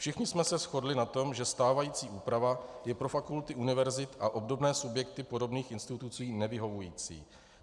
Všichni jsme se shodli na tom, že stávající úprava je pro fakulty univerzit a obdobné subjekty podobných institucí nevyhovující.